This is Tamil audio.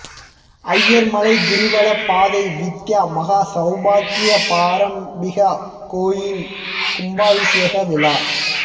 அய்யர்மலை கிரிவலப் பாதை வித்யா மகா சவுபாக்ய பராம்பிகா கோயில் கும்பாபிஷேக விழா